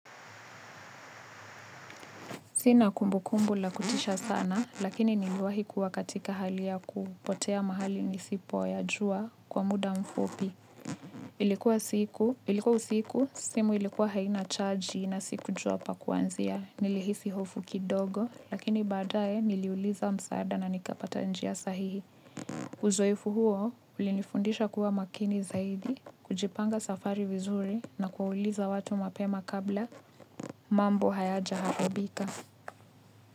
Sina kumbu kumbu la kutisha sana, lakini niliwahi kuwa katika hali ya kupotea mahali nisipoyajua kwa muda mfupi. Ilikuwa siku, ilikuwa usiku, simu ilikuwa haina chaji na sikujua pa kuanzia. Nilihisi hofu kidogo, lakini baadaye niliuliza msaada na nikapata njia sahihi. Uzoefu huo, ulinifundisha kuwa makini zaidi, kujipanga safari vizuri na kuuliza watu mapema kabla mambo hayajaharibika.